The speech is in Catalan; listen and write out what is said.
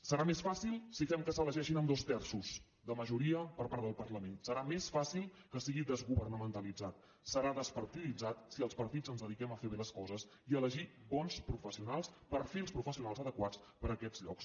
serà més fàcil si fem que s’elegeixin amb dos terços de majoria per part del parlament serà més fàcil que sigui desgovernamentalitzat serà despartiditzat si els partits ens dediquem a fer bé les coses i a elegir bons professionals perfils professionals adequats per a aquests llocs